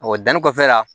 danni kɔfɛ la